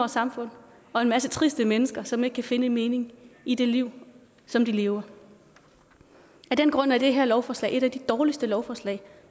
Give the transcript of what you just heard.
samfund og en masse triste mennesker som ikke kan finde en mening i det liv som de lever af den grund er det her lovforslag et af de dårligste lovforslag